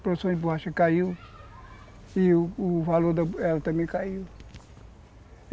a produção de borracha caiu, e o o valor dela também caiu.